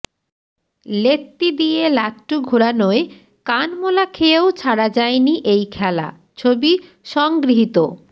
লেত্তি দিয়ে লাট্টু ঘোরানোয় কানমোলা খেয়েও ছাড়া যায়নি এই খেলা ছবি সংগৃহীত